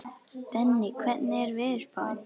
Denni, hvernig er veðurspáin?